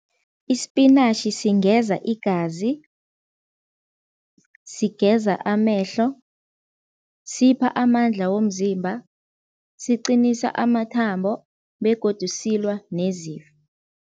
Isipinatjhi singeza igazi, sigeza amehlo, sipha amandla womzimba, siqinisa amathambo begodu silwa nezifo.